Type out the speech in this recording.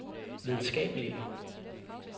videnskabelige